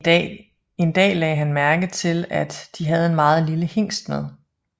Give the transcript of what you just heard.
En dag lagde han mærke til at de havde en meget lille hingst med